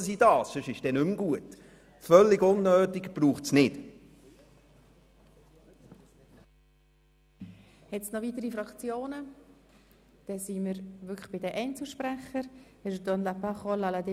Man will damit definieren, nach welchen Wertvorstellungen die drei Landeskirchen arbeiten sollen.